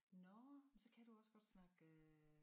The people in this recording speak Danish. Nåh så kan du også godt snakke øh